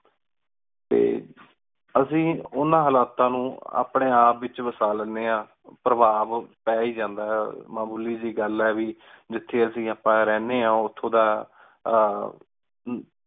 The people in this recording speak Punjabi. ਟੀ ਅੱਸੀ ਓਹਨਾ ਹਾਲਾਤਾਂ ਨੌ ਅਪਨੀ ਆਪ ਵਿਚ ਵਸਾ ਲੈਣੇ ਆਂ ਪਰ੍ਵਾਬ ਪੈ ਈ ਜਾਂਦਾ ਆਯ ਮਾਮੂਲੀ ਜੈ ਗਲ ਆਯ ਵੀ ਜਿਥੇ ਅੱਸੀ ਆਪਾ ਰਹਨੇ ਆਂ ਓਥੋਂ ਦਾ ਆਹ